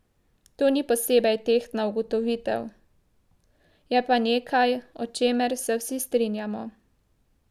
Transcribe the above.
To ni posebej tehtna ugotovitev, je pa nekaj, o čemer se vsi strinjamo.